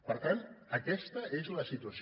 per tant aquesta és la situació